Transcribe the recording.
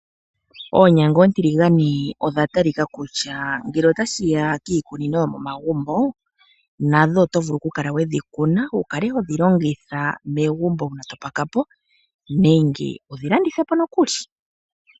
Oonyanga oontiligane odha talika kutya ngele otashi ya kiikunino yomomagumbo nadho oto vulu oku kala wedhi kuna wukale hodhi longitha megumbo wukale topakapo nenge wudhi landithe nokuli.